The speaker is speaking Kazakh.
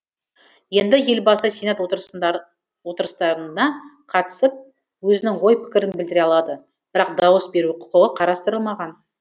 енді елбасы сенат отырыстарына қатысып өзінің ой пікірін білдіре алады бірақ дауыс беру құқы қарастырылмаған